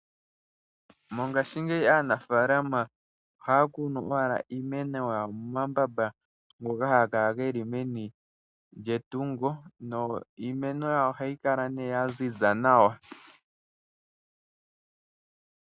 Mongaashingeyi aanafalama ohaya kunu owala iimeno yawo momambamba ngoka haga kala geli meni lyetungo nohayi kala ya ziza nawa.